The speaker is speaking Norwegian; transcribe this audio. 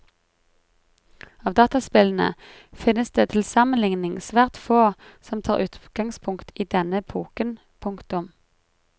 Av dataspillene finnes det til sammenligning svært få som tar utgangspunkt i denne epoken. punktum